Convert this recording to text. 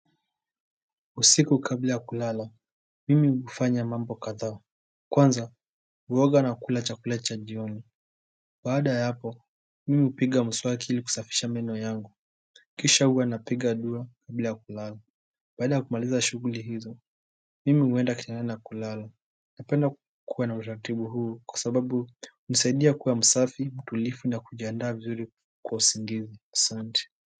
Usiku kabla ya kulala, mimi hufanya mambo kadhaa kwanza, huoga na kula chakula cha jioni baada ya hapo, mimi hupiga mswaki ili kusafisha meno yangu kisha huwa napiga dua kabla ya kulala baada ya kumaliza shughuli hizo, mimi huenda kitandani na kulala. Napenda kukua na utaratibu huu kwa sababu hunisaidia kuwa msafi, mtulivu na kujiandaa vizuri kwa usingizi. Asante muziki.